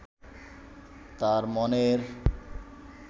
তার মনের